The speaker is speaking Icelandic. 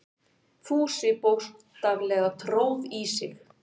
Fúsi bókstaflega tróð í sig.